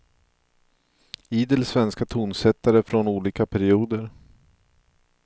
Idel svenska tonsättare från olika perioder.